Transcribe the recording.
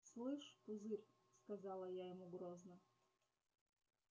слышь пузырь сказала я ему грозно